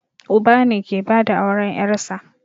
Uba ne ke bada auren ƴarsa